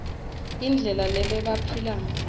indlela lebebaphila ngayo